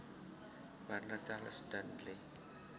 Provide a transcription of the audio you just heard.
Warner Charles Dudley